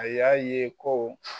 A y'a ye ko.